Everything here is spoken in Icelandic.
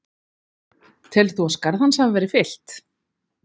Telur þú að skarð hans hafi verið fyllt?